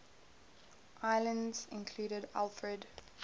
islands included alfred